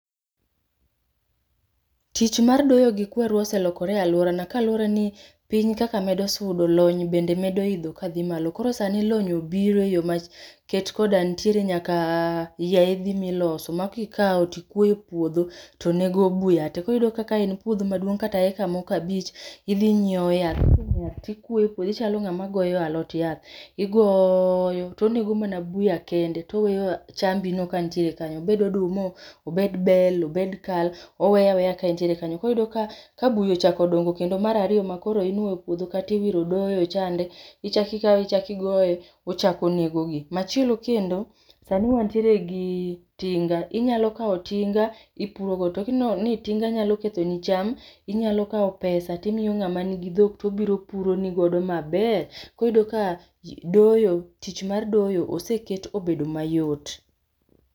Tich mar doyo gi kweru oselokore e alworana kaluwore ni piny kaka medo sudo, lony bende medo idho ka dhi malo. Koro sani lony obiro eyo ma ket koda nitiere nyaka yaeidhi miloso makikaw tikuoye e puodho tonego buya te. Koro iyudo ka ka en puodho maduong' kata eka moko abich, idhi inyiew yath kisenyiew yath tikuoye e puodho ichalo ng'ama goyo alot yath. Igoyo tonego mana buya kende toweyoa chambino kantiere kanyo, obed oduma, obed bel, obed kal oweye aweya ka entiere kanyo. Koro iyudo ka ka buya ochako odongo kendo mar ariyo ma koro onuoyo puodho kata iwiro doyo chande, ichaki ikawe ichaki igoye, ochak onego gi. Machielo kendo, sani wantiere gi tinga, inyalo kaw tinga ipuro go. To kineno ni tinga nyalo ketho ni cham, inyalo kaw pesa timiyo ng'ama nigi dhok tobiro opuro ni godo maber. Koro iyudo ka doyo, tich mar doyo oseket obedo mayot